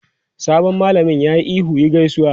Sabon malamin ya yi ihu "yi gaisuwa!"